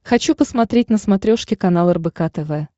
хочу посмотреть на смотрешке канал рбк тв